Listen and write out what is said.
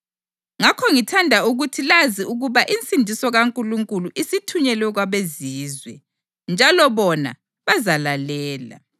Ngakho ngithanda ukuthi lazi ukuba insindiso kaNkulunkulu isithunyelwe kwabeZizwe, njalo bona bazalalela!” [